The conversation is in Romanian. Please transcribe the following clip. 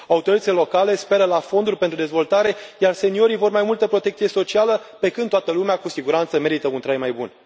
Autoritățile locale speră la fonduri pentru dezvoltare, iar seniorii vor mai multă protecție socială, pe când toată lumea, cu siguranță, merită un trai mai bun.